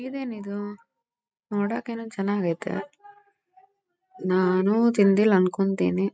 ಇದೇನಿದು ನೋಡಕ ಏನೋ ಚನಾಗೈತೆ ನಾನು ತಿಂದಿಲ್ಲಾ ಅನ್ಕೋತೀನಿ .